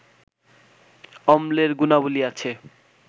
অম্লের গুণাবলি আছে